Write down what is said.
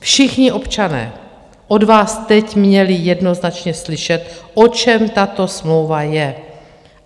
Všichni občané od vás teď měli jednoznačně slyšet, o čem tato smlouva je.